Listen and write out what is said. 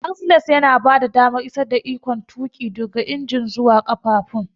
Axles yana bada damar isar da ikon tuƙi daga injin zuwa ƙafafun.